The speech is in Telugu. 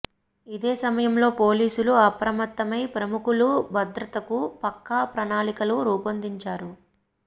ఇదే సమయంలో పోలీసులు అప్రమత్తమై ప్రముఖుల భద్రతకు పక్కా ప్రణాళికలు రూపొందించారు